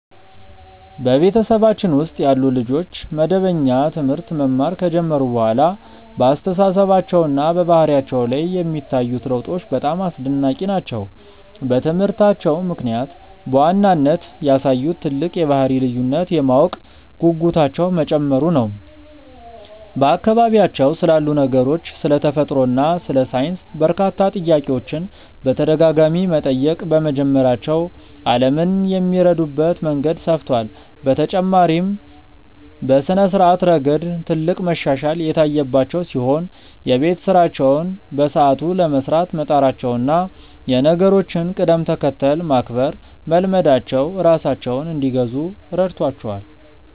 በቤተሰባችን ውስጥ ያሉ ልጆች መደበኛ ትምህርት መማር ከጀመሩ በኋላ በአስተሳሰባቸውና በባህሪያቸው ላይ የሚታዩት ለውጦች በጣም አስደናቂ ናቸው። በትምህርታቸው ምክንያት በዋናነት ያሳዩት ትልቅ የባህሪ ልዩነት የማወቅ ጉጉታቸው መጨመሩ ነው፤ በአካባቢያቸው ስላሉ ነገሮች፣ ስለ ተፈጥሮ እና ስለ ሳይንስ በርካታ ጥያቄዎችን በተደጋጋሚ መጠየቅ በመጀመራቸው ዓለምን የሚረዱበት መንገድ ሰፍቷል። በተጨማሪም በስነ-ስርዓት ረገድ ትልቅ መሻሻል የታየባቸው ሲሆን፣ የቤት ስራቸውን በሰዓቱ ለመስራት መጣራቸውና የነገሮችን ቅደም-ተከተል ማክበር መልመዳቸው ራሳቸውን እንዲገዙ ረድቷቸዋል።